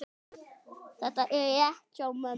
Þetta er rétt hjá mömmu.